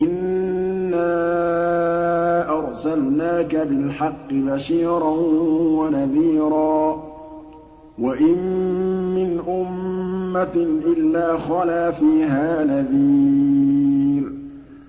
إِنَّا أَرْسَلْنَاكَ بِالْحَقِّ بَشِيرًا وَنَذِيرًا ۚ وَإِن مِّنْ أُمَّةٍ إِلَّا خَلَا فِيهَا نَذِيرٌ